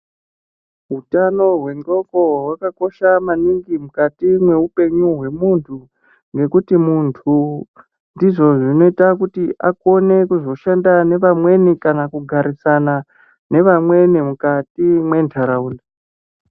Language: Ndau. Utano hwendxondo hwakakosha maningi mukati meupenyu hwemuntu nekuti muntu ndizvo zvinoita maningi kuti akone kuzoshanda nevamweni kana kuzogarisana nevamweni mukati mwendaraunda.